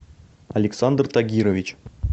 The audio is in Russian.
александр тагирович